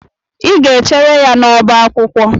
Ị ga-echere ya n'ọbá akwụkwọ!